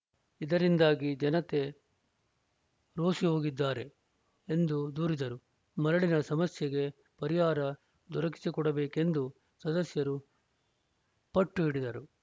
ಇದರಿಂದಾಗಿ ಜನತೆ ರೋಸಿಹೋಗಿದ್ದಾರೆ ಎಂದು ದೂರಿದರು ಮರಳಿನ ಸಮಸ್ಯೆಗೆ ಪರಿಹಾರ ದೊರಕಿಸಿಕೊಡಬೇಕೆಂದು ಸದಸ್ಯರು ಪಟ್ಟುಹಿಡಿದರು